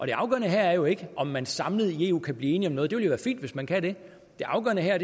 det afgørende her er jo ikke om man samlet i eu kan blive enige om noget det vil jo være fint hvis man kan det det afgørende her